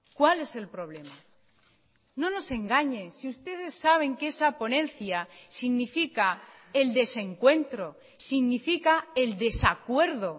cuál es el problema no nos engañe si ustedes saben que esa ponencia significa el desencuentro significa el desacuerdo